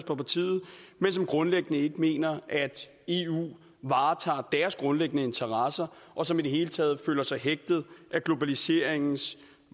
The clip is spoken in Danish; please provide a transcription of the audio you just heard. på partiet men som grundlæggende ikke mener at eu varetager deres grundlæggende interesser og som i det hele taget føler sig hægtet af globaliseringens